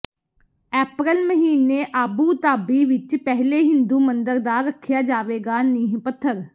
ਅਪ੍ਰੈਲ ਮਹੀਨੇ ਆਬੂਧਾਬੀ ਵਿਚ ਪਹਿਲੇ ਹਿੰਦੂ ਮੰਦਰ ਦਾ ਰੱਖਿਆ ਜਾਵੇਗਾ ਨੀਂਹ ਪੱਥਰ